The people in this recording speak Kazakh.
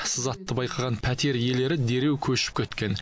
сызатты байқаған пәтер иелері дереу көшіп кеткен